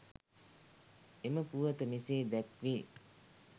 එම පුවත මෙසේ දැක්වේ.